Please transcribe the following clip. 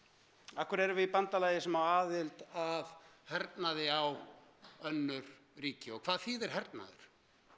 af hverju erum við í bandalagi sem á aðild að hernaði á önnur ríki og hvað þýðir hernaður